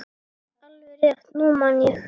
Alveg rétt, nú man ég.